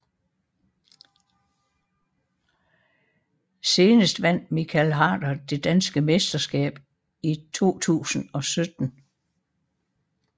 Senest vandt Michael Harder det danske mesterskab i 2017